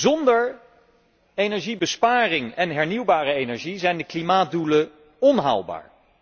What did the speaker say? Zonder energiebesparing en hernieuwbare energie zijn de klimaatdoelen onhaalbaar.